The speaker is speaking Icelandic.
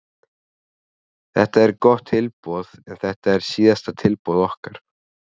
Þetta er gott tilboð en þetta er síðasta tilboð okkar.